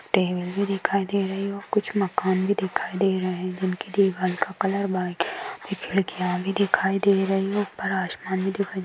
table भी दिखाई दे रही है और कुछ मकान भी दिखाई दे रही है उनके दीवार का कलर व्हाइट और खिड़किया भी दिखाई दे रही हैं ऊपर आसमान भी दिखाई--